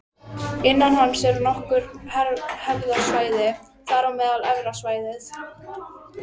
Innan hans eru nokkur hverasvæði, þar á meðal Efra svæðið